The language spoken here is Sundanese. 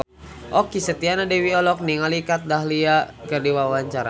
Okky Setiana Dewi olohok ningali Kat Dahlia keur diwawancara